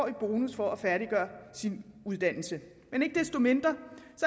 i bonus for at færdiggøre sin uddannelse men ikke desto mindre